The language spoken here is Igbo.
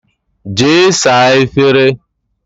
Jee saa efere!